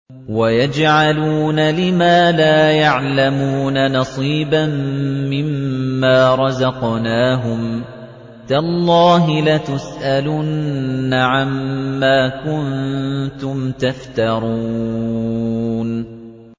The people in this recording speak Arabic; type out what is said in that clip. وَيَجْعَلُونَ لِمَا لَا يَعْلَمُونَ نَصِيبًا مِّمَّا رَزَقْنَاهُمْ ۗ تَاللَّهِ لَتُسْأَلُنَّ عَمَّا كُنتُمْ تَفْتَرُونَ